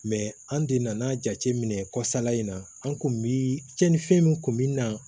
an de nana jateminɛ kɔsanla in na an kun mi cɛnni fɛn min kun bi na